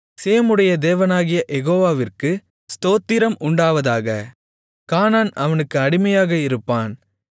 சேமுடைய தேவனாகிய யெகோவாவிற்க்கு ஸ்தோத்திரம் உண்டாவதாக கானான் அவனுக்கு அடிமையாக இருப்பான்